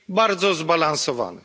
Bardzo zbalansowany.